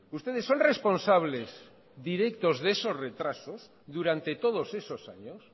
ustedes son responsables directos de esos retrasos durante todos esos años